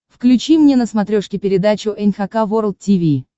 включи мне на смотрешке передачу эн эйч кей волд ти ви